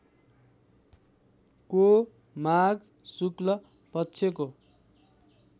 को माघ शुक्ल पक्षको